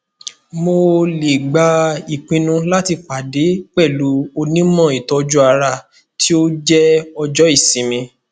mo le gba ipinnu lati pade pẹlu onimọ itoju ara ti o jẹ ojo isinmi